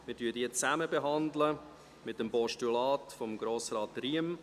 Wir behandeln diese zusammen mit dem Postulat von Grossrat Riem: